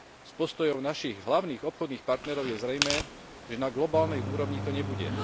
Z postojov našich hlavných obchodných partnerov je zrejmé, že na globálnej úrovni to nebude.